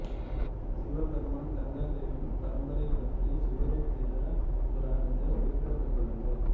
சிவபெருமான் கங்கா தேவியின் பரம்பரைப் பற்றி சிவருத்திர புராணத்தில் குறிப்பிடப்பட்டுள்ளது